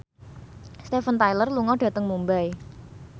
Steven Tyler lunga dhateng Mumbai